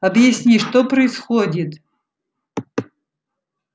объясни что происходит